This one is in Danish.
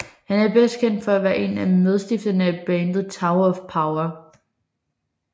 Han er bedst kendt for at være en af medstifterne af bandet Tower of Power